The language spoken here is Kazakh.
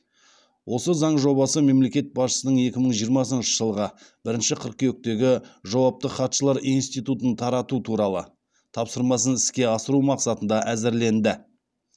осы заң жобасы мемлекет басшысының екі мың жиырмасыншы жылғы бірінші қыркүйектегі жауапты хатшылар институтын тарату туралы тапсырмасын іске асыру мақсатында әзірленді